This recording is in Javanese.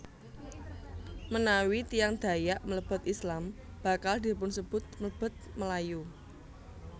Menawi tiyang Dayak mlebet Islam bakal dipunsebut mlebet Melayu